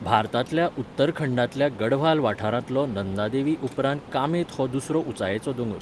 भारतांतल्या उत्तरखंडांतल्या गढवाल वाठारांतलो नंददेवी उपरांत कामेत हो दुसरो उंचायेचो दोंगर.